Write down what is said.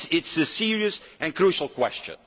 So it is a serious and crucial question.